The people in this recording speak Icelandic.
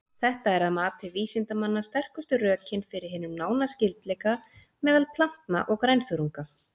Þetta er að mati vísindamanna sterkustu rökin fyrir hinum nána skyldleika meðal plantna og grænþörunga.